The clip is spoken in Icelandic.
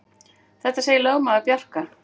Þetta segir lögmaður Bjarka.